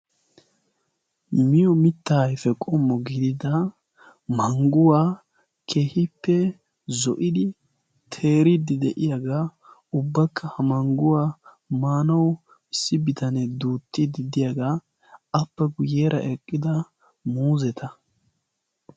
Miyo mitta ayfe qommo gidida mangguwaa kehippe zo'idi teeriidi de'iyaagaa. ubbakka ha mangguwaa maanau missi bitanee duuttid diddiyaagaa appe guyyeera eqqida muuzeta.